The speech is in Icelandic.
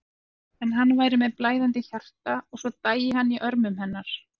En hann væri með blæðandi hjarta og svo dæi hann í örmum hennar.